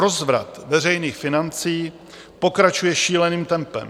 Rozvrat veřejných financí pokračuje šíleným tempem.